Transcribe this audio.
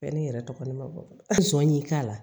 Bɛɛ ni yɛrɛ tɔgɔ ni ma bɔ a sɔni k'a la